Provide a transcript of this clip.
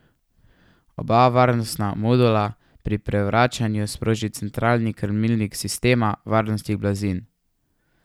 Oba varnostna modula pri prevračanju sproži centralni krmilnik sistema varnostnih blazin.